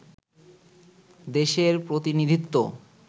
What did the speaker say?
দেশের প্রতিনিধিত্ব